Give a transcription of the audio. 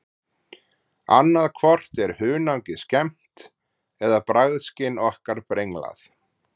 Annað hvort er hunangið skemmt eða bragðskyn okkar brenglað.